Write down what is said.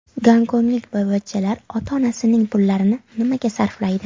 Gonkonglik boyvachchalar ota-onasining pullarini nimaga sarflaydi?